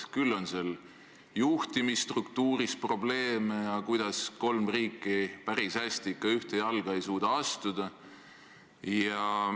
Küll on seal juhtimisstruktuuris probleeme ja kolm riiki päris hästi ikka ühte jalga ei suuda astuda.